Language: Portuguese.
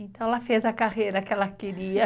Então ela fez a carreira que ela queria.